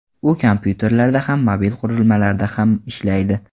U kompyuterlarda ham, mobil qurilmalarda ham ishlaydi.